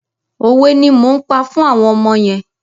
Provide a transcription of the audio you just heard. Òwe ni mò ń pa fún àwọn ọmọ yẹn.